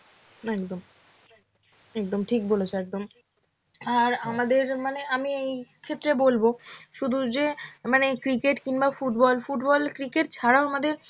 একদম, একদম ঠিক বলেছ একদম. আর আমাদের মানে আমি এই ক্ষেত্রে বলবো, শুধু যে মানে cricket কিংবা football, football, cricket ছাড়াও আমাদের